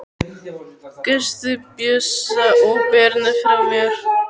Kysstu Bjössa og Birnu frá mér.